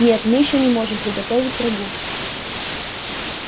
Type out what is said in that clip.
нет мы ещё не можем приготовить рагу